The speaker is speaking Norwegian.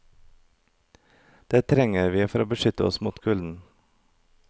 De trenger vi for å beskytte oss mot kulden.